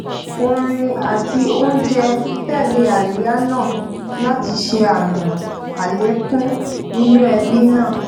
orin àti oúnjẹ tẹlé àríyá náà láti ṣe àmì àlékún inú ẹbí náà